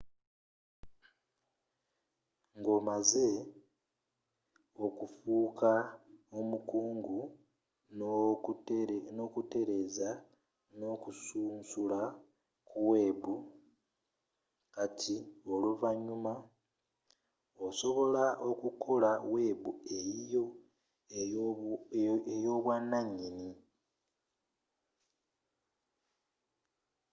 nga omaze okufuuka omukugu n'okutereeza n'okusunsula ku webu kati oluvanyuma osobola okukola webu eyiyo ey'obwananyini